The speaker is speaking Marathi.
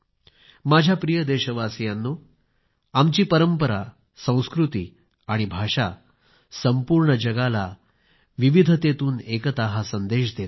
माझ्या प्रिय देशवासीयांनो आमची परंपरा संस्कृती आणि भाषा संपूर्ण जगाला विविधतेतून एकता हा संदेश देतात